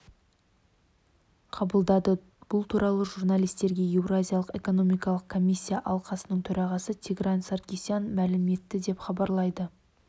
қабылдады бұл туралы журналистерге еуразиялық экономикалық комиссия алқасының төрағасы тигран саркисян мәлім етті деп хабарлайды